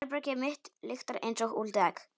Herbergið mitt lyktar einsog úldið egg.